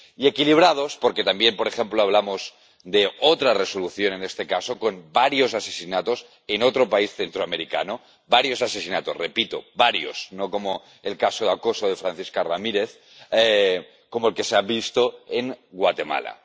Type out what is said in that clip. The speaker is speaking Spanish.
y equilibrados, porque también, por ejemplo, hablamos de otra Resolución, en este caso con varios asesinatos en otro país centroamericano —varios asesinatos, repito, varios, no como el caso de acoso de Francisca Ramírez—, como es Guatemala.